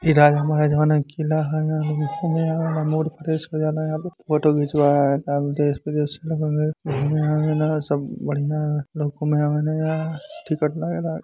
इ राजा महाराजा क किला है। एहवा लोग घूमे आवेला मूड फ्रेश हो जाला। यहाँ पे फोटो खिचवावे आवेला देश विदेश से लोग घूमे आवेला सब बढ़िया में आवेला टिकट लागेला |